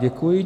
Děkuji.